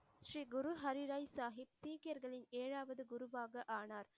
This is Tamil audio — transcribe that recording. ஸ்ரீ குரு ஹரிராய் சாஹிப் சீக்கியர்களின் ஏழாவது குருவாக ஆனார்.